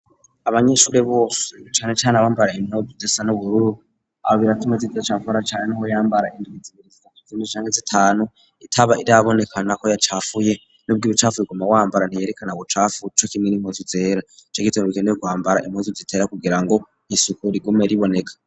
Abanyeshure bose bicane cane abambara intobzesa n'ubururu aba biratuma izitcafura cyane n'aho yambara induizibiriziza kzinicange zitanu itaba iriabonekana ko yacafuye n'ubw'ibicafuye kuma wambara ntiyerekana ubucafu co kimwe n'impunzizera co gitone bikeneye kwambara impunzi zitera kugira ngo isuku rigume riboneka.